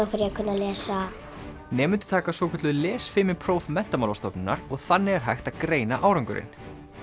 að lesa nemendur taka svokölluð lesfimipróf Menntamálastofnunar og þannig er hægt að greina árangurinn